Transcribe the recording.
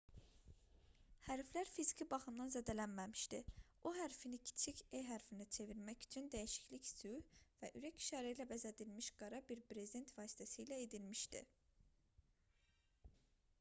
hərflər fiziki baxımdan zədələnməmişdi o hərfini kiçik e hərfinə çevirmək üçün dəyişiklik sülh və ürək işarələri ilə bəzədilmiş qara bir brezent vasitəsilə edilmişdi